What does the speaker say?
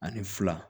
Ani fila